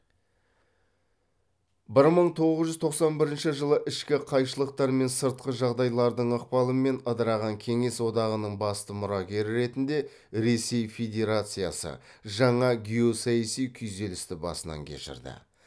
бір мың тоғыз жүз тоқсан бірінші жылы ішкі қайшылықтар мен сыртқы жағдайлардың ықпалымен ыдыраған кеңес одағының басты мұрагері ретінде ресей федерациясы жаңа геосаяси күйзелісті басынан кешірді